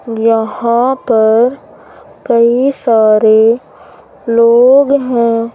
यहां पर कई सारे लोग हैं।